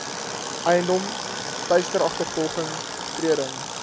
eiendom teisteragtervolging betreding